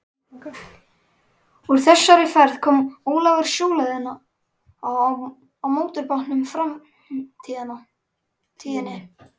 Úr þessari ferð kom Ólafur sjóleiðina á mótorbátnum Framtíðinni.